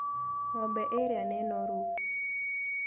Ng'ombe ĩrĩa nĩ noru.